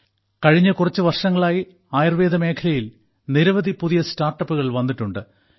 കഴിഞ്ഞ കുറച്ച് വർഷങ്ങളായി ആയുർവേദ മേഖലയിൽ നിരവധി പുതിയ സ്റ്റാർട്ടപ്പുകൾ വന്നിട്ടുണ്ട്